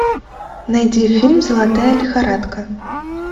найди фильм золотая лихорадка